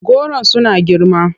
Goron suna girma.